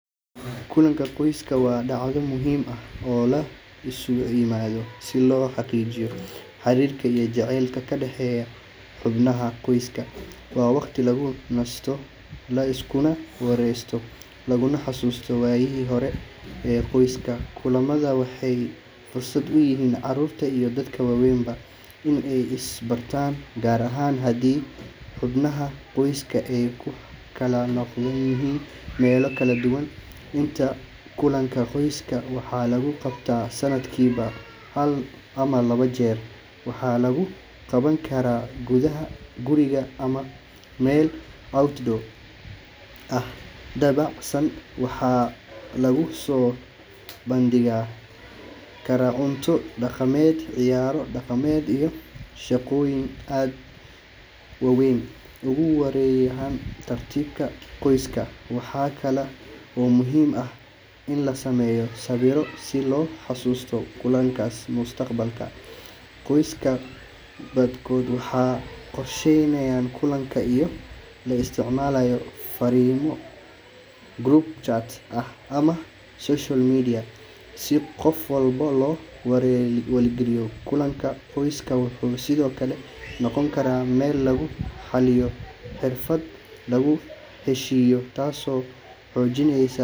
Kulanka qoyska waa sacdo muhiim ah oo la isugu imadho si lo xaqijiyo xarirka iyo jacelka kadaxeyo xubnaha qoyska waa waqti lagu nasto laskuna waresto laguna xasusto wayahi hore ee qoyska, kulamaada waxee fursaad uyihin carurta iyo dadka wawenba in ee isbartan gar ahan hadii xubnaha qoyska kala noqdo wax yalo kala duwan, kulanka qoyska waxaa la qabta sanadkiwa hal mar, waxaa kala oo muhiim ah in la sameyo sawira, si qof walbo lo wariyo kulanka qoyska waxuu sithokale noqon karaa meel lagu xaliyo tasi oo xojineysaa.